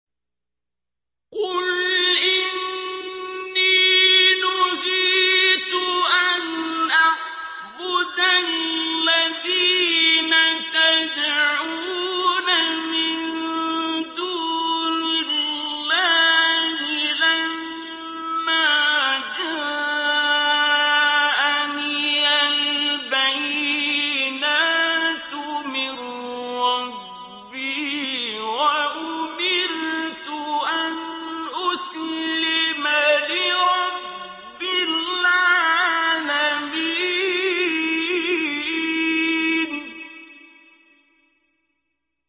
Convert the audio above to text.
۞ قُلْ إِنِّي نُهِيتُ أَنْ أَعْبُدَ الَّذِينَ تَدْعُونَ مِن دُونِ اللَّهِ لَمَّا جَاءَنِيَ الْبَيِّنَاتُ مِن رَّبِّي وَأُمِرْتُ أَنْ أُسْلِمَ لِرَبِّ الْعَالَمِينَ